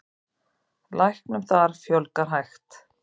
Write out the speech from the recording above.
Læknum þar fjölgi hægt.